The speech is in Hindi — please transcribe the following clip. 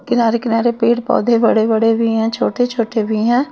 किनारे किनारे पेड़ पौधे बड़े बड़े भी हैं छोटे छोटे भी हैं।